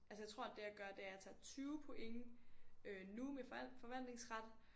Altså jeg tror det jeg gør er at jeg tager 20 point øh nu med forvalt forvaltningsret